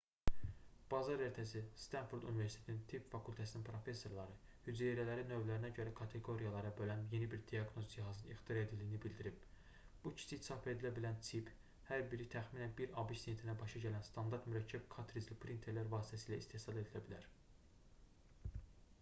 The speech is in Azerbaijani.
bazar ertəsi stanford universitetinin tibb fakültəsinin professorları hüceyrələri növlərinə görə kateqoriyalara bölən yeni bir diaqnoz cihazının ixtira edildiyini bildirib bu kiçik çap edilə bilən çip hər biri təxminən 1 abş sentinə başa gələn standart mürəkkəb kartricli printerlər vasitəsilə istehsal edilə bilər